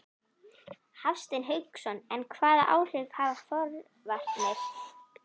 Hafsteinn Hauksson: En hvaða áhrif hafa forvarnir?